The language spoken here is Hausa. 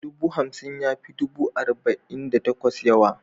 Dubu hamsin ya fi dubu arba'in da takwas yawa.